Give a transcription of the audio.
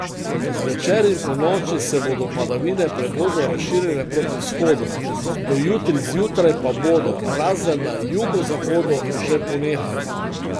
Zvečer in ponoči se bodo padavine prehodno razširile proti vzhodu, do jutri zjutraj pa bodo, razen na jugozahodu, že ponehale.